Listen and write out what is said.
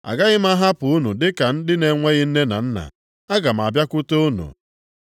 Agaghị m ahapụ unu dị ka ndị na-enweghị nne na nna. Aga m abịakwute unu.